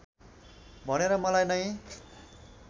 भनेर मलाई नै